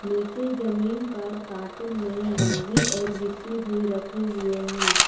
नीचे जमीन पर कार्टून में मैगी और यिप्पी भी रखे हुए हैं।